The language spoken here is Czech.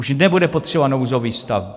Už nebude potřeba nouzový stav.